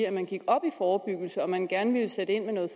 at man gik op i forebyggelse og at man gerne ville sætte ind med noget